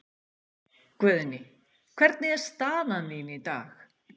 Guðný: Hvernig er staðan þín í dag?